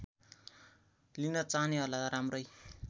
लिन चाहनेहरूलाई राम्रै